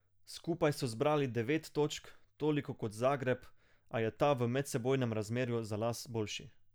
Skupaj so zbrali devet točk, toliko kot Zagreb, a je ta v medsebojnem razmerju za las boljši.